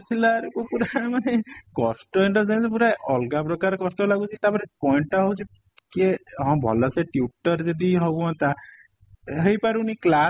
କୁ ପୁରା ମାନେ କଷ୍ଟ ଅଲଗା ପ୍ରକାର କଷ୍ଟ ଲାଗୁଚି ତା ପରେ point ଟା ହଉଚି କିଏ ହଁ ଭଲ ସେ tutor ଯଦି ହଁ ହୁଅନ୍ତା ହେଇ ପାରୁନି class